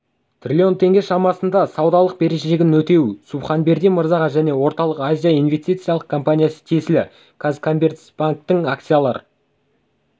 триллион теңге шамасында ссудалық берешегін өтеуі субханбердин мырзаға және орталық-азия инвестициялық компаниясы тиесілі қазкоммерцбанктің акциялар